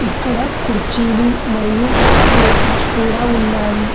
ఎక్కడ కుర్చీలు మరియు టేబుల్స్ కూడా ఉన్నాయి.